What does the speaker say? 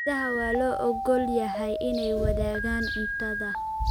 Idaha waa loo oggol yahay inay wadaagaan cuntada.